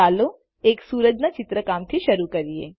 ચાલો એક સુરજના ચિત્રકામથી શરૂ કરીએ